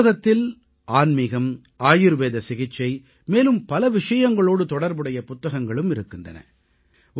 இந்த நூலகத்தில் ஆன்மீகம் ஆயுர்வேத சிகிச்சை மேலும் பல விஷயங்களோடு தொடர்புடைய புத்தகங்களும் இருக்கின்றன